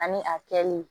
Ani a kɛli